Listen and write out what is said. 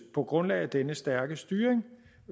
på grundlag af denne stærke styring